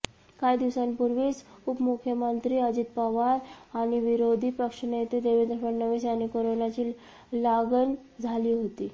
काही दिवसांपूर्वीच उपमुख्यमंत्री अजित पवार आणि विरोधी पक्षनेते देवेंद्र फडणवीस यांनी कोरोनाची लागण झाली होती